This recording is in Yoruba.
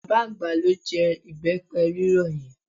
Bàbá àgbà ló jẹ ìbẹ́pẹ rírọ̀ yẹn.